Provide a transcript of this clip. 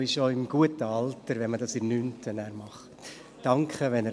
Es ist auch das richtig Alter, wenn man den Kurs in der 9. Klasse absolviert.